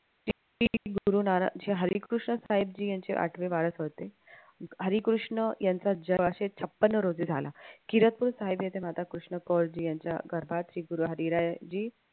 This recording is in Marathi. श्री गुरुनानक हे हरिकृष्ण साहेबजी यांचे आठवे वारस होते. हरिकृष्ण यांचा जन्म सोळाशे छपन्न रोजी झाला. किरदपूर येथे राधा कृष्ण कोरची हरीरायजी